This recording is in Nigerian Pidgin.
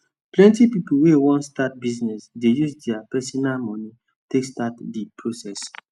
plenti pipu wey wan start business dey use dia personal moni take start d process